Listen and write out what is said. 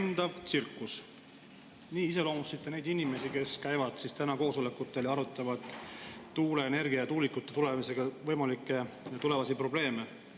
Lendav tsirkus – nii iseloomustasite neid inimesi, kes käivad koosolekutel ja arutavad tuuleenergia ja tuulikutega võimalikke tulevasi probleeme.